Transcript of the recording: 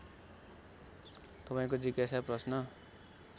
तपाईँको जिज्ञासा प्रश्न